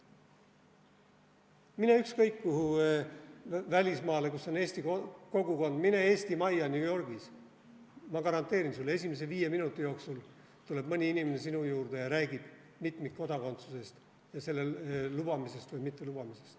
Mine ükskõik kuhu välismaale, kus on eesti kogukond, mine Eesti Majja New Yorgis – ma garanteerin sulle, et esimese viie minuti jooksul tuleb mõni inimene sinu juurde ja räägib mitmikkodakondsusest ja selle lubamisest või mittelubamisest.